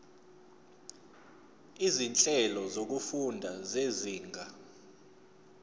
izinhlelo zokufunda zezinga